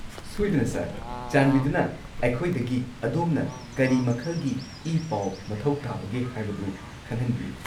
ꯁꯣꯏꯗꯅ, ꯁꯔ! ꯆꯥꯟꯕꯤꯗꯨꯅ ꯑꯩꯈꯣꯏꯗꯒꯤ ꯑꯗꯣꯝꯅ ꯀꯔꯤ ꯃꯈꯜꯒꯤ ꯏ-ꯄꯥꯎ ꯃꯊꯧ ꯇꯥꯕꯒꯦ ꯍꯥꯏꯕꯗꯨ ꯈꯪꯍꯟꯕꯤꯌꯨ꯫